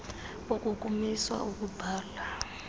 boku kumiswa ukubala